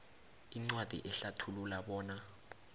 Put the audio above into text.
incwadi ehlathulula bona